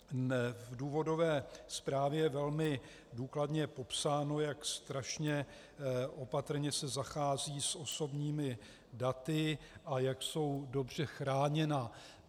V důvodové zprávě je velmi důkladně popsáno, jak strašně opatrně se zachází s osobními daty a jak jsou dobře chráněna.